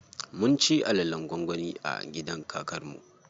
Mun ci alalen gwangwani a gidan kakar mu.